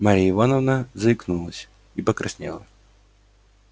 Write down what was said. марья ивановна заикнулась и покраснела